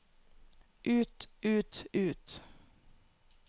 ut ut ut